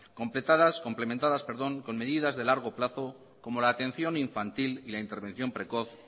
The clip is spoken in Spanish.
complementadas con medidas de largo plazo como la atención infantil y la intervención precoz